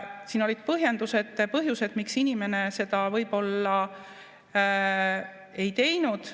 Siin olid põhjendused ja põhjused, miks inimene seda võib-olla ei teinud.